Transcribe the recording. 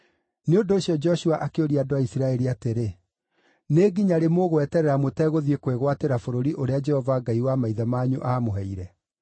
Nĩ ũndũ ũcio Joshua akĩũria andũ a Isiraeli atĩrĩ, “Nĩ nginya rĩ mũgweterera mũtegũthiĩ kwĩgwatĩra bũrũri ũrĩa Jehova Ngai wa maithe manyu aamũheire?